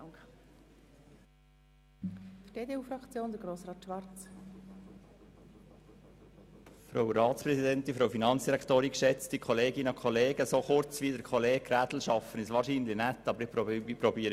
So kurz wie Kollege Grädel werde ich mich wohl nicht fassen, aber ich möchte auch nicht lange reden.